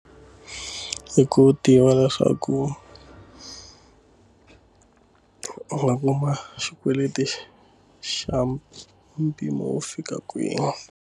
Hi ku tiva leswaku u nga kuma xikweleti xa mpimo wo fika kwini.